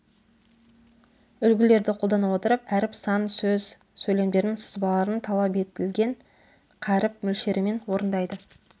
үлгілерді қолдана отырып әріп сан сөз сөйлемдердің сызбаларын талап етілген қаріп мөлшерімен орындайды